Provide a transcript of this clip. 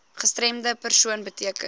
gestremde persoon beteken